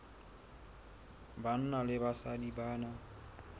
banna le basadi ba na